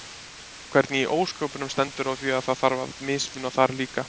Hvernig í ósköpunum stendur á því að það þarf að mismuna þar líka?